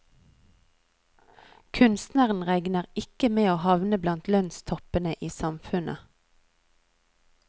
Kunstneren regner ikke med å havne blant lønnstoppene i samfunnet.